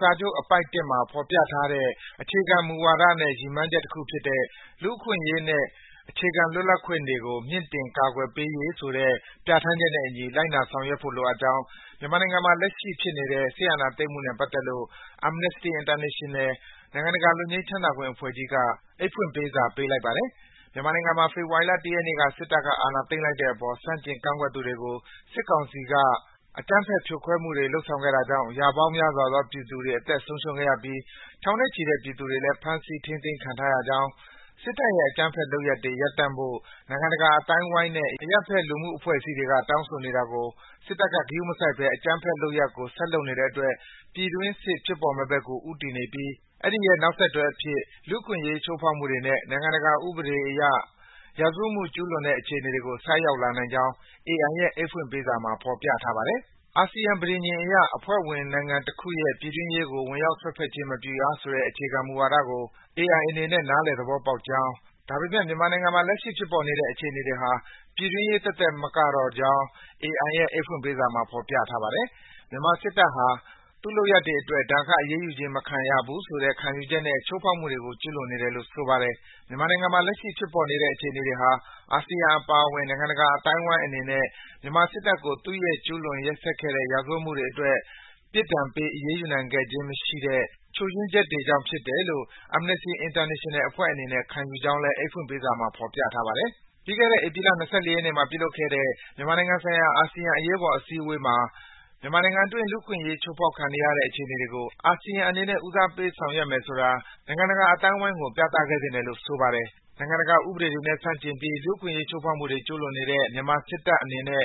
စာချုပ် အပိုဒ် ၁ မှာ ဖော်ပြထားတဲ့ အခြေခံမူဝါဒနဲ့ ရည်မှန်းချက်တခုဖြစ်တဲ့ “လူ့အခွင့်အရေးနှင့် အခြေခံလွတ်လပ်ခွင့်တွေကို မြင့်တင် ကာကွယ်ပေးရေး” ဆိုတဲ့ ပြဋ္ဌာန်းချက်နဲ့အညီ လိုက်နာဆောင်ရွက်ဖို့ လိုအပ်ကြောင်း မြန်မာနိုင်ငံမှာ လက်ရှိဖြစ်နေတဲ့ စစ်အာဏာသိမ်းမှုနဲ့ ပတ်သက်လို့ Amnesty International - နိုင်ငံတကာ လွတ်ငြိမ်းချမ်းသာခွင့်အဖွဲ့ကြီးက အိတ်ဖွင့်ပေးစာ ပေးပို့လိုက်ပါတယ်။ မြန်မာနိုင်ငံမှာ ဖေဖော်ဝါရီလ ၁ ရက်နေ့က စစ်တပ်က အာဏာသိမ်းလိုက်တဲ့အပေါ် ဆန့်ကျင်ကန့်ကွက်သူတွေကို စစ်ကောင်စီဘက်က အကြမ်းဖက် ဖြိုခွဲမှုတွေ လုပ်ဆောင်ခဲ့တာကြောင့် ရာပေါင်းများစွာသော ပြည်သူတွေ အသက်ဆုံးရှုံးခဲ့ရပြီး ထောင်နဲ့ချီတဲ့ ပြည်သူတွေလည်း ဖမ်းဆီး ထိန်းသိမ်းခံထားရကြောင်း၊ စစ်တပ်ရဲ့ အကြမ်းဖက်လုပ်ရပ်တွေ ရပ်တန့်ဖို့ နိုင်ငံတကာ အသိုင်းအဝိုင်းနဲ့ အရပ်ဘက် လူမှုအဖွဲ့အစည်းတွေက တောင်းဆိုနေတာကို စစ်တပ်က ဂရုမစိုက်ဘဲ အကြမ်းဖက်လုပ်ရပ်ကို ဆက်လုပ်နေတဲ့အတွက် ပြည်တွင်းစစ်ဖြစ်ပေါ်မယ့်ဘက်ကို ဦးတည်နေပြီး အဲဒီရဲ့ နောက်ဆက်တွဲအဖြစ် လူ့အခွင့်အရေး ချိုးဖောက်မှုတွေနဲ့ နိုင်ငံတကာ ဥပဒေအရ ရာဇဝတ်မှုတွေ ကျူးလွန်တဲ့ အခြေအနေကို ဆိုက်ရောက်လာနိုင်ကြောင်း AI ရဲ့ အိတ်ဖွင့်ပေးစာမှာ ဖော်ပြထားပါတယ်။ အာဆီယံပဋိညာဉ်အရ အဖွဲ့ဝင်နိုင်ငံတခုရဲ့ ပြည်တွင်းရေးကို ဝင်ရောက်စွက်ဖက်ခြင်း မပြုရဆိုတဲ့ အခြေခံမူဝါဒကို AI အနေနဲ့ နားလည်သဘောပေါက်ကြောင်း၊ ဒါပေမယ့် မြန်မာနိုင်ငံမှာ လက်ရှိဖြစ်ပေါ်နေတဲ့ အခြေအနေတွေဟာ ပြည်တွင်းရေးသက်သက် မကတော့ကြောင်း AI ရဲ့ အိတ်ဖွင့်ပေးစာမှာ ဖော်ပြထားပါတယ်။ မြန်မာစစ်တပ်ဟာ သူ့လုပ်ရပ်တွေအတွက် ဒဏ်ခတ်အရေးယူခြင်း မခံရနိုင်ဘူးဆိုတဲ့ ခံယူချက်နဲ့ ချိုးဖောက်မှုတွေကို ကျူးလွန်နေတယ်လို့ ဆိုပါတယ်။ မြန်မာနိုင်ငံမှာ လက်ရှိဖြစ်ပေါ်နေတဲ့ အခြေအနေတွေဟာ အာဆီယံအပါအဝင် နိုင်ငံတကာ အသိုင်းအဝိုင်းအနေနဲ့ မြန်မာစစ်တပ်ကို သူ့ရဲ့ အရင်ကျူးလွန်ခဲ့တဲ့ ရာဇဝတ်မှုတွေအတွက် ပြစ်ဒဏ်ပေး အရေးယူနိုင်ခဲ့ခြင်း မရှိခဲ့တဲ့ ချို့ယွင်းချက်တွေကြောင့်ဖြစ်တယ်လို့ Amnesty International အဖွဲ့အနေနဲ့ ခံယူကြောင်းလည်း အိတ်ဖွင့်ပေးစာမှာ ဖော်ပြထားပါတယ်။ ပြီးခဲ့တဲ့ ဧပြီလ ၂၄ ရက်နေ့မှာ ပြုလုပ်ခဲ့တဲ့ မြန်မာနိုင်ငံဆိုင်ရာ အာဆီယံ အရေးပေါ် စည်းဝေးပွဲမှာ မြန်မာနိုင်ငံအတွင်း လူ့အခွင့်အရေး ချိုးဖောက်ခံနေရတဲ့ အခြေအနေတွေကို အာဆီယံအနေနဲ့ ဦးစားပေး ဆောင်ရွက်မယ်ဆိုတာ နိုင်ငံတကာ အသိုင်းအဝိုင်းကို ပြသခဲ့သင့်တယ်လို့ ဆိုပါတယ်။ နိုင်ငံတကာ ဥပဒေတွေနဲ့ ဆန့်ကျင်ပြီး လူ့အခွင့်အရေး ချိုးဖောက်မှုတွေ ကျူးလွန်နေတဲ့ မြန်မာစစ်တပ်အနေနဲ့